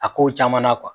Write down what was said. A kow caman na